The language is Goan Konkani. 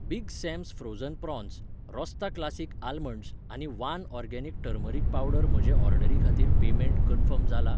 Big Sam's frozen prawns, Rostaa classic almonds आनी वान ऑर्गेनिक टर्मरीक पावडर म्हजे ऑर्डरी खातीर पेमेंट कन्फर्म जाला ?